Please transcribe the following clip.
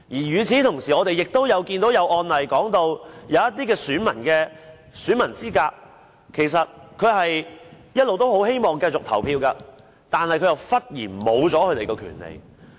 與此同時，我們也看到一些案例，有些選民喪失選民資格，其實他們一直希望繼續可以投票的，但忽然喪失權利。